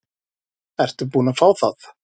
Ertu búin að fá það?